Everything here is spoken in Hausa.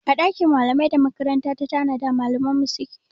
A ɗakin malamai da makaranta ta tanada malaman mu suke